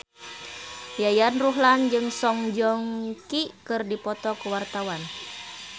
Yayan Ruhlan jeung Song Joong Ki keur dipoto ku wartawan